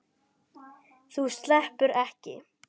Þú sleppur ekki!